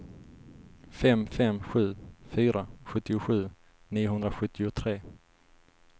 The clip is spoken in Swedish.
fem fem sju fyra sjuttiosju niohundrasjuttiotre